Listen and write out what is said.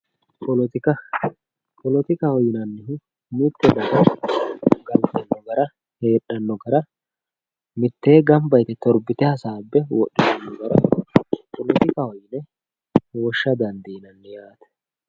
Poletika poletikaho yinanihu mitte daga galitano gara hedhano gara miitte ganba yitte toribite hasabe wodhitano gara politikaho yine wosha dandinanni yatte